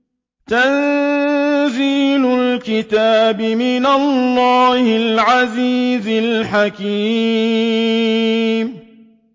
تَنزِيلُ الْكِتَابِ مِنَ اللَّهِ الْعَزِيزِ الْحَكِيمِ